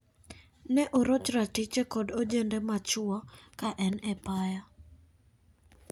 Ne oroch ratiche kod ojende ma chwo kaen epaya.